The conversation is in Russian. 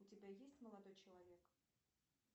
у тебя есть молодой человек